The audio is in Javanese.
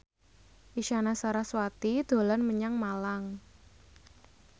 Isyana Sarasvati dolan menyang Malang